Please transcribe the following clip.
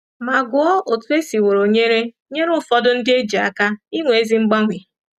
Ma gụọ otú e siworo nyere nyere ụfọdụ ndị e ji aka inwe ezi mgbanwe.